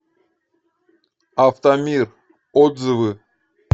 автомир отзывы